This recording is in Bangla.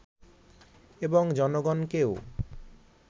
এবং জনগণকেও